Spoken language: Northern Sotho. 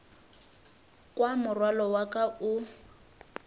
kwa morwalo wa ka o